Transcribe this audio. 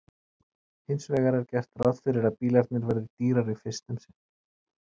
hins vegar er gert ráð fyrir að bílarnir verði dýrari fyrst um sinn